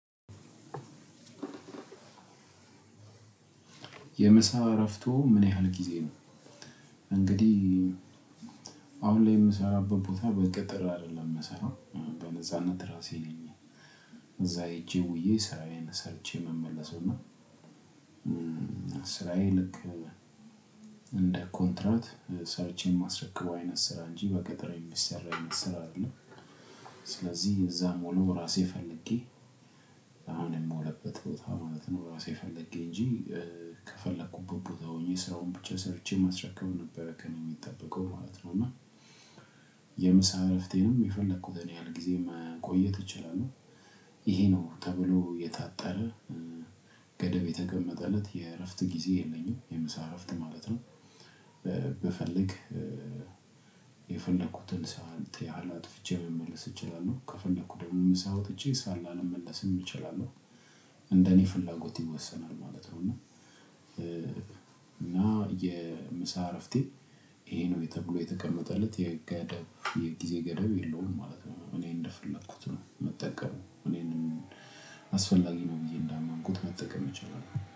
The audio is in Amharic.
የምሳ እረፍቶ ምን ያህል ጊዜ ነው? እንግዲህ አሁን ላይ የምሰራበት ቦታ በቅጥር አይደለም ምሰራው በነጻነት ራሴ ነኝ እዛ ሄጄ ውዬ ስራዬን ሰርቼ ምመለሰውና። ስራዬ ልክ እንደ ኮንትራት ሰርቼ የማስረክበው አይነት ስራ እንጂ በቅጥር የሚሰራ አይነት ስራ አይደለም። ስለዚህ እዛ ምውለው ራሴ ፈልጌ አሁን የምውልበት ቦታ ማለት ነው ራሴ ፈልጌ እንጂ ከፈለኩበት ቦታ ሆኜ ሰራውን ብቻ ሰርቼ መስረከብ ነበር ከእኔ የሚጠበቀው ማለት ነው። እና የምሳ እረፍቴንም የፈለኩት ያህል ጊዜ መቆየት እችላለሁ። ይሄ ነው ተብሎ የታጠረ ገደብ የተቀመጠለት የእረፍት ጊዜ የለኝም የምሳ እረፍት ማለት ነው። ብፈልግ የፈለኩትን ሰዓት ያህል አጥፍቼ መመለስ እችላለሁ ከፈለኩ ደግሞ ምሳ ወጥቼ ላልመለስም እችላለሁ እንደኔ ፍላጎት ይወሰናል ማለት ነው። እና እና የምሳ እረፍቴ ይሄ ነው ተብሎ የተቀመጠለት የገደብ የጊዜ ገደብ የለውም ማለት ነው። እኔ እንደፈለኩት ነው ምጠቀመው እኔንም አስፈላጊ ነው ብዬ እንዳመንኩት መጠቀም እችላለሁ።